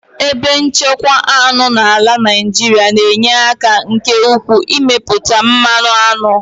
Ebe nchekwa aṅụ n'ala Naijiria na-enye aka nke ukwuu n'ịmepụta mmanụ aṅụ.